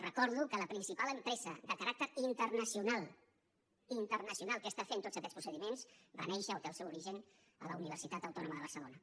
recordo que la principal empresa de caràcter internacional internacional que està fent tots aquests procediments va néixer o té el seu origen a la universitat autònoma de barcelona